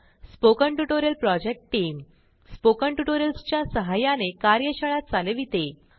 spoken tutorial project team spoken tutorials च्या सहाय्याने कार्यशाळा चालविते